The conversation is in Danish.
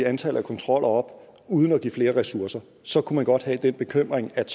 antallet af kontroller op uden at give flere ressourcer så kunne man godt have den bekymring at